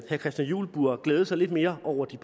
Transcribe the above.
christian juhl burde glæde sig lidt mere over de